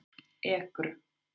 Ekru